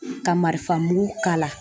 Ka marifan mugu k'a la